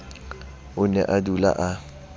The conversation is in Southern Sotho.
o ne a dula a